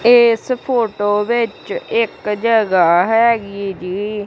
ਇਸ ਫੋਟੋ ਵਿੱਚ ਇੱਕ ਜਗਹਾ ਹੈਗੀ ਜੀ।